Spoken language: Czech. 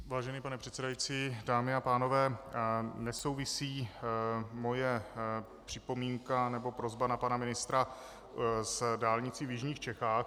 Vážený pane předsedající, dámy a pánové, nesouvisí moje připomínka nebo prosba na pana ministra s dálnicí v jižních Čechách.